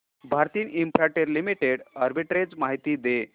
Bharti Infratel limited arbitrage माहिती दे